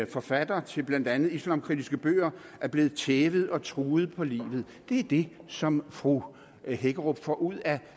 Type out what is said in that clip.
forfatter til blandt andet islamkritiske bøger er blevet tævet og truet på livet det er det som fru hækkerup får ud af